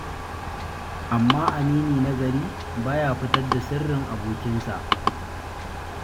Amma amini na gari, ba ya fitar da sirrin abokinsa.